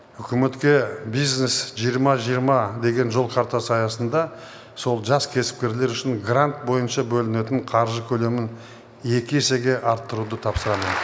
үкіметке бизнес жиырма жиырма деген жол картасы аясында сол жас кәсіпкерлер үшін грант бойынша бөлінетін қаржы көлемін екі есеге арттыруды тапсырамын